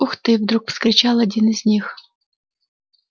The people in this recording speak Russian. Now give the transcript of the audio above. ух ты вдруг вскричал один из них